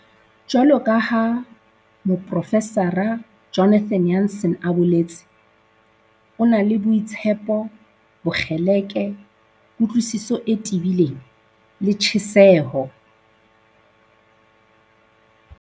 Jwaloka ha Moprofesara Jonathan Jansen a boletse, "O na le boitshepo, bokgeleke, kutlwisiso e tebileng le tjheseho."